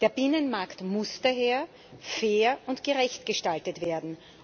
Der Binnenmarkt muss daher fair und gerecht gestaltet werden.